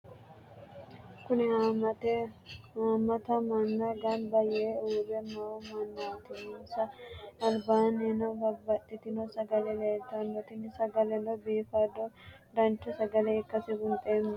Kuni haamata mannanna gamba yee uure noo mannati insa alibannino babaxitino sagale leelitano tini sagaleno bifadona dancha sagale ikase bunxeemo?